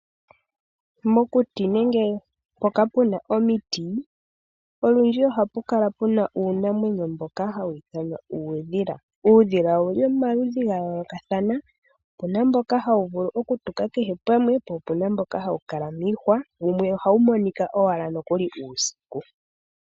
Kokuti nenge mpoka puna omiti, olundji ohapu kala uunamwenyo mboka hawu iithanwa ta kuti uudhila. Uudhila owuli pomaludhi ga yoolokathana, opuna mboka hawu vulu oku tuka kehe pamwe, po opuna mboka hawu kala miihwa, ohawu monika nokuli ashike uusiku.